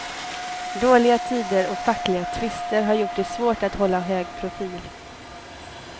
Dåliga tider och fackliga tvister har gjort det svårt att hålla hög profil.